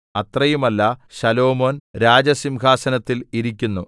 അത്രയുമല്ല Solomon രാജസിംഹാസനത്തിൽ ഇരിക്കുന്നു